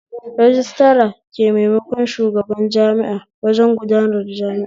Rajistira ke maimakon shugaban jami'a wajen gudanar jami'a